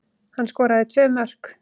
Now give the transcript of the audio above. Hann skoraði tvö mörk